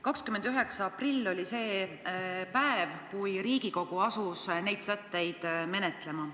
29. aprill oli see päev, kui Riigikogu asus neid sätteid menetlema.